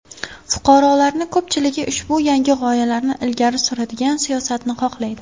Fuqarolarni ko‘pchiligi ushbu yangi g‘oyalarni ilgari suradigan siyosatni xohlaydi.